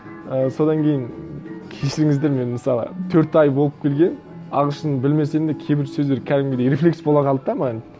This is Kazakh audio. і содан кейін кешіріңіздер мен мысалы төрт ай болып келген ағылшынды білмесем де кейбір сөздер кәдімгідей рефлекс бола қалды да маған